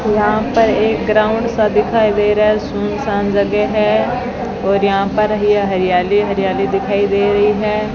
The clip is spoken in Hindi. यहां पर एक ग्राउंड सा दिखाई दे रहा है सुनसान जगह है और यहां पर ये हरियाली हरियाली दिखाई दे रही है।